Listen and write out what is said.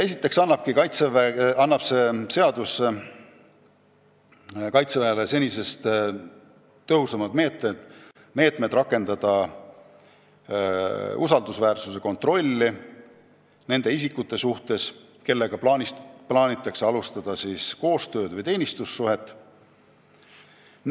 Esiteks annab tulevane seadus Kaitseväele senisest tõhusamad meetmed rakendada nende isikute usaldusväärsuse kontrolli, kellega plaanitakse alustada koostööd või teenistussuhet.